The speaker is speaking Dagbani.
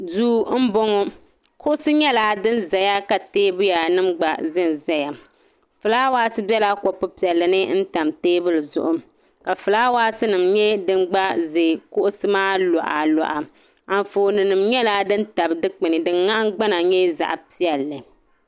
Duu m-bɔŋɔ kuɣusi nyɛla din zaya ka teebuya nima gba zanzaya fulaawaasi bela kopu piɛlli n-tam teebuli zuɣu ka fulaawaasinima nyɛ din gba ʒe kuɣusi maa luɣaluɣa anfooninima nyɛla din tabi dukpuni din nahingbana nyɛ zaɣ'piɛlli.